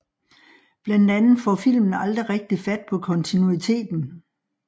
Blandt andet får filmen aldrig rigtig fat på kontinuiteten